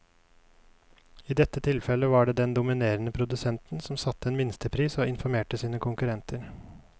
I dette tilfellet var det den dominerende produsenten som satte en minstepris og informerte sine konkurrenter.